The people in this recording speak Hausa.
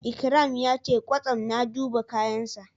Ikram ya ce kwastam na duba kayansa.